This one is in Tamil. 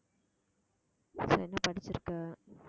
அப்புறம் என்ன படிச்சிருக்க